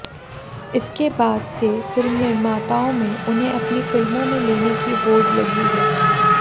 इसके बाद से फिल्म निर्माताओं में उन्हें अपनी फिल्मों में लेने की होड लगी है